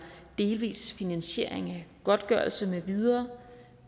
delvis finansiering af godtgørelse med videre